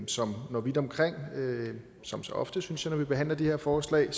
som når vidt omkring som så ofte synes jeg når vi behandler de her forslag